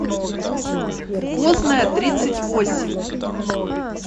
позная тридцать восемь